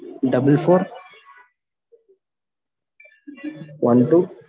double four one two